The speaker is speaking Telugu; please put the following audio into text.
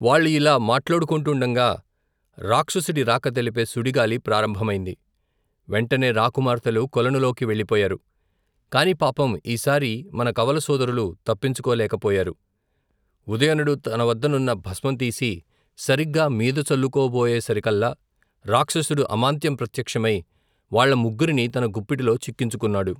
వాళ్లు యిలా మాట్లాడుకొంటుండగా రాక్షసుడి రాక తెలిపే సుడిగాలి ప్రారంభమైంది వెంటనే రాకుమార్తెలు కొలనులోకి వెళ్లిపోయారు కాని పాపం ఈసారి మన కవలసోదరులు తప్పించుకోలేక పోయారు ఉదయనుడు తనవద్దనున్న భస్మం తీసి సరీగ్గా మీదచల్లుకోబోయేసరికల్లా రాక్షసుడు అమాంతం ప్రత్యక్షమై వాళ్ల ముగ్గురినీ తన గుప్పిటిలో చిక్కించుకొన్నాడు.